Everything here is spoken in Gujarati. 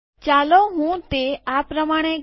ચાલો હું તે આ પ્રમાણે કરું